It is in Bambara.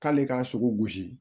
K'ale k'a sogo gosi